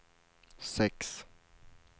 sex